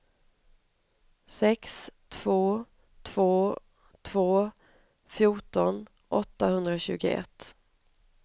sex två två två fjorton åttahundratjugoett